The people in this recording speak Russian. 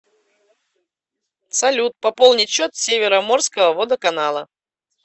салют пополнить счет североморского водоканала